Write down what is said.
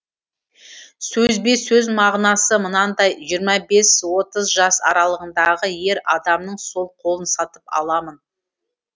сөзбе сөз мағынасы мынандай жиырма бес отыз жас аралығындағы ер адамның сол қолын сатып аламын